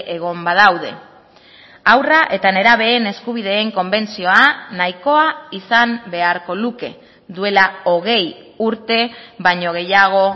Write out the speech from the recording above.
egon badaude haurra eta nerabeen eskubideen konbentzioa nahikoa izan beharko luke duela hogei urte baino gehiago